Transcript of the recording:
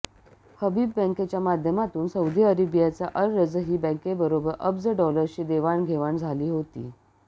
हबीब बँकेच्या माध्यमातून सौदी अरेबियाच्या अल रजही बँकेबरोबर अब्ज डॉलर्सची देवाणघेवाण झाली होती